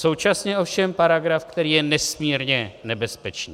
Současně ovšem paragraf, který je nesmírně nebezpečný.